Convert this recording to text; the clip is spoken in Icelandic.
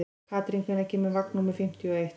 Karín, hvenær kemur vagn númer fimmtíu og eitt?